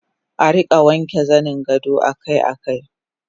Arika wanke zaningado akai akai